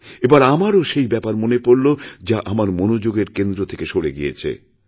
এবার আমারও সেই ব্যাপার মনে পড়ল যা আমার মনোযোগের কেন্দ্র থেকে সরে গিয়েছিল